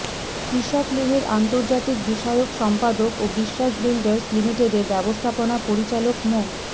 কৃষক লীগের আন্তর্জাতিক বিষয়ক সম্পাদক ও বিশ্বাস বিল্ডার্স লিমিটেডের ব্যবস্থাপনা পরিচালক মো